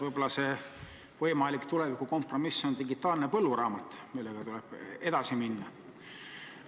Võib-olla on võimalik tuleviku kompromiss digitaalne põlluraamat, millega tuleb edasi minna.